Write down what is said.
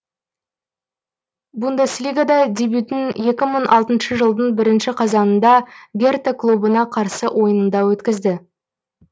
бундеслигада дебютін екі мың алтыншы жылдың бірінші қазанында герта клубына қарсы ойынында өткізді